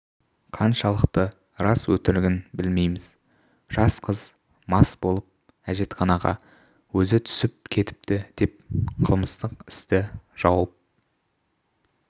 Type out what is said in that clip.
қаншалықты рас-өтірігін білмейміз жас қыз мас болып әжетханаға өзі түсіп кетіпті деп қылмыстық істі жауып